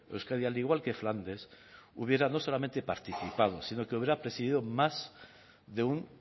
euskadi al igual que flandes hubiera no solamente participado sino que hubiera presidido más de un